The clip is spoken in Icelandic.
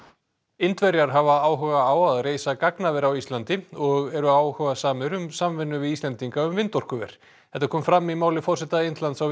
Indverjar hafa áhuga á að reisa gagnaver á Íslandi og eru áhugasamir um samvinnu við Íslendinga um vindorkuver þetta kom fram í máli forseta Indlands á